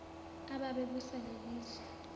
ababe busa lelizwe